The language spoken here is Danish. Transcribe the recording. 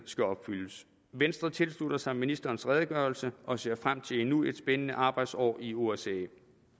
skal opfyldes venstre tilslutter sig ministerens redegørelse og ser frem til endnu et spændende arbejdsår i osce